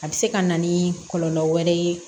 A bɛ se ka na ni kɔlɔlɔ wɛrɛ ye